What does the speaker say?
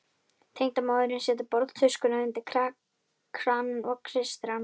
Tengdamóðirin setur borðtuskuna undir kranann og kreistir hana.